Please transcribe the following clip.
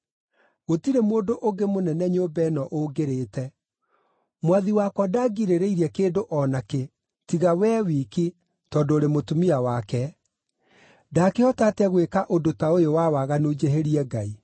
Gũtirĩ mũndũ ũngĩ mũnene nyũmba ĩno ũngĩrĩte. Mwathi wakwa ndangirĩrĩirie kĩndũ o nakĩ, tiga wee wiki, tondũ ũrĩ mũtumia wake. Ndaakĩhota atĩa gwĩka ũndũ ta ũyũ wa waganu njĩhĩrie Ngai?”